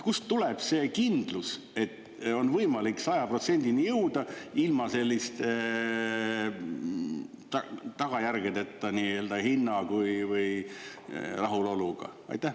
Kust tuleb see kindlus, et on võimalik 100%-ni jõuda ilma selliste tagajärgedeta nii hinna kui rahuloluga?